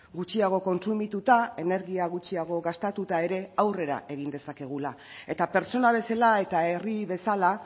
gutxiago kontsumituta energia gutxiago gastatuta ere aurrera egin dezakegula eta pertsona bezala eta herri bezala